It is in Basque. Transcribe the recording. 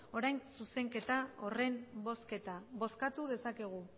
orain zuzenketa horren bozketa bozkatu dezakegu